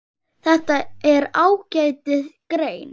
Þetta er ágætis grein.